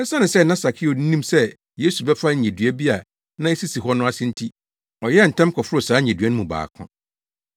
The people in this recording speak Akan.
Esiane sɛ na Sakeo nim sɛ Yesu bɛfa nnyedua bi a na esisi hɔ no ase nti, ɔyɛɛ ntɛm kɔforoo saa nnyedua no mu baako.